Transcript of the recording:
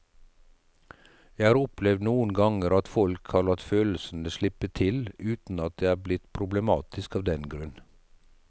Jeg har opplevd noen ganger at folk har latt følelsene slippe til uten at det er blitt problematisk av den grunn.